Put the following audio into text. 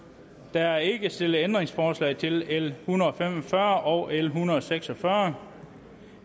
der er ikke stillet ændringsforslag til l en hundrede og fem og fyrre og l en hundrede og seks og fyrre